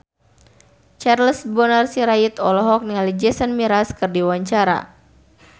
Charles Bonar Sirait olohok ningali Jason Mraz keur diwawancara